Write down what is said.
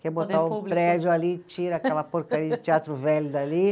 Que é botar o prédio ali, tira aquela porcaria de teatro velho dali.